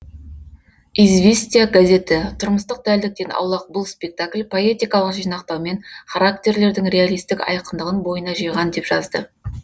известия газеті тұрмыстық дәлдіктен аулақ бұл спектакль поэтикалық жинақтаумен характерлердің реалистік айқындығын бойына жиған деп жазды